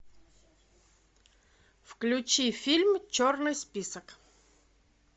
включи фильм черный список